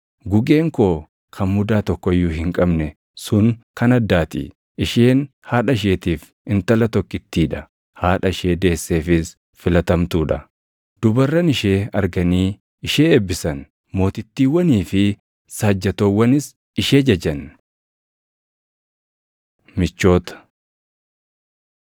gugeen koo kan mudaa tokko iyyuu hin qabne sun kan addaa ti; isheen haadha isheetiif intala tokkittii dha; haadha ishee deesseefis filatamtuu dha. Dubarran ishee arganii ishee eebbisan; mootittiiwwanii fi saajjatoowwanis ishee jajan. Michoota